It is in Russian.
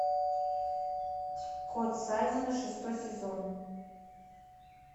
кот саймона шестой сезон